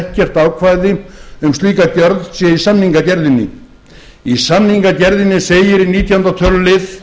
ekkert ákvæði um slíka gjörð sé í samningagerðinni í samningagerðinni segir í nítjánda tölulið